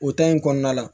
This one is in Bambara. O in kɔnɔna la